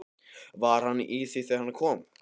Var hann í því þegar hann kom?